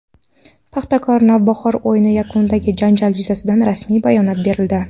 "Paxtakor" – "Navbahor" o‘yini yakunidagi janjal yuzasidan rasmiy bayonot berildi;.